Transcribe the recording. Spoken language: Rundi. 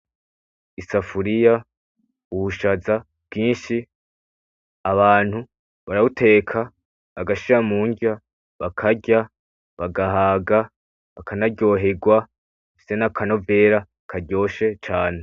Isafuriya, ubushaza bwinshi, abantu barabuteka bagashira mu ngya bakarya bagahaga, bakanaryoherwa, mbese n’akanovera karyoshe cane.